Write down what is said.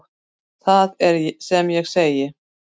Það er sem ég segi.